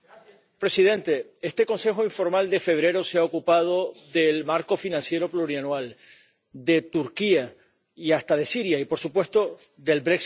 Señor presidente, este Consejo informal de febrero se ha ocupado del marco financiero plurianual, de Turquía y hasta de Siria y, por supuesto, del